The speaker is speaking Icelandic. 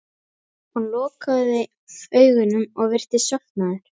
Hann lokaði augunum og virtist sofnaður.